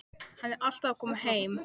Hann er alltaf að koma heim.